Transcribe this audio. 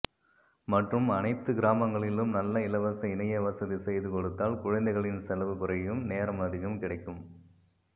மற்றும் அனைத்து கிராமங்களிளும் நல்ல இலவச இனைய வசதி செய்து கொடுத்தால் குழந்தைகளின் செலவு குறையும் நேரம் அதிகம் கிடைக்கும்